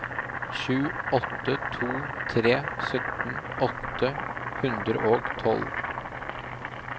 sju åtte to tre sytten åtte hundre og tolv